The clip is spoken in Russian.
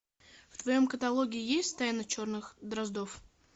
в твоем каталоге есть тайна черных дроздов